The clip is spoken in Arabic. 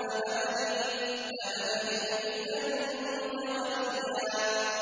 امْرَأَتِي عَاقِرًا فَهَبْ لِي مِن لَّدُنكَ وَلِيًّا